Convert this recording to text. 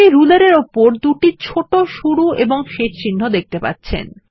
আপনি রুলার এর উপর দুটি ছোট শুরু এবং শেষ চিহ্ন দেখতে পাচ্ছেন